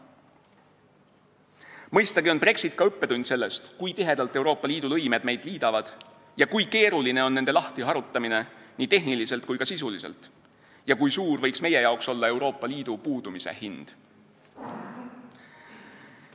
Mõistagi on Brexit ka õppetund sellest, kui tihedalt Euroopa Liidu lõimed meid liidavad ja kui keeruline on nende lahtiharutamine nii tehniliselt kui ka sisuliselt ja kui suur võiks meie jaoks olla Euroopa Liidu puudumise hind.